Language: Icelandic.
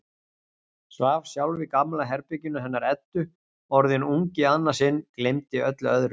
Svaf sjálf í gamla herberginu hennar Eddu, orðin ung í annað sinn, gleymdi öllu öðru.